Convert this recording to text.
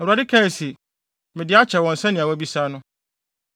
Awurade kaa se, “Mede akyɛ wɔn sɛnea woabisa no.